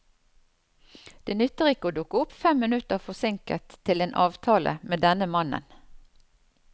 Det nytter ikke å dukke opp fem minutter forsinket til en avtale med denne mannen.